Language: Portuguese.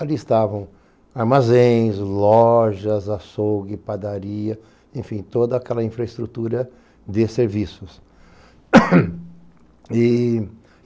Ali estavam armazéns, lojas, açougue, padaria, enfim, toda aquela infraestrutura de serviços.